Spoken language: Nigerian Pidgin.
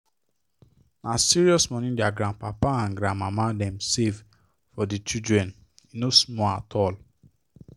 na serious money their grandpapa and grandmama dem save for the children e no small at all